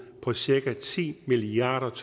på cirka ti milliard